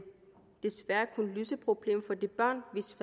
desværre kun løse problemet for de børn hvis